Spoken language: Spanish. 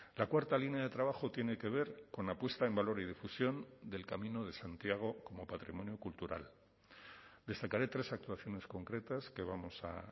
la cuarta línea de trabajo tiene que ver con la puesta en valor y difusión del camino de santiago como patrimonio cultural destacaré tres actuaciones concretas que vamos a